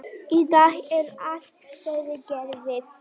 Í dag er allt fyrirgefið.